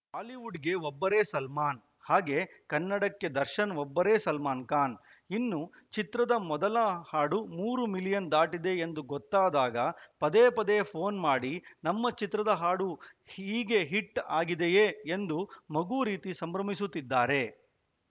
ಬಾಲಿವುಡ್‌ಗೆ ಒಬ್ಬರೇ ಸಲ್ಮಾನ್‌ ಹಾಗೆ ಕನ್ನಡಕ್ಕೆ ದರ್ಶನ್‌ ಒಬ್ಬರೇ ಸಲ್ಮಾನ್‌ ಖಾನ್‌ ಇನ್ನೂ ಚಿತ್ರದ ಮೊದಲ ಹಾಡು ಮೂರು ಮಿಲಿಯನ್‌ ದಾಟಿದೆ ಎಂದು ಗೊತ್ತಾದಾಗ ಪದೇ ಪದೇ ಫೋನ್‌ ಮಾಡಿ ನಮ್ಮ ಚಿತ್ರದ ಹಾಡು ಹೀಗೆ ಹಿಟ್‌ ಆಗಿದೆಯೇ ಎಂದು ಮಗು ರೀತಿ ಸಂಭ್ರಮಿಸುತ್ತಿದ್ದಾರೆ